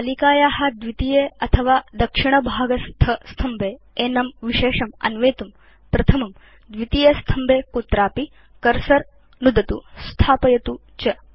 तालिकाया द्वितीये अथवा दक्षिणभागस्थस्तम्भे एनं विशेषम् अन्वेतुं प्रथमं द्वितीयेस्तम्भे कुत्रापि कर्सर नुदतु स्थापयतु च